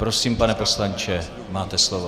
Prosím, pane poslanče, máte slovo.